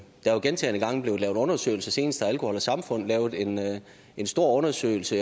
er jo gentagne gange blevet lavet undersøgelser senest har alkohol samfund lavet en en stor undersøgelse